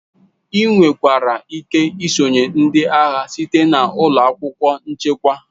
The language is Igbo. Ị nwekwara ike isonyere ndị agha site na ụlọ akwụkwọ nchekwa.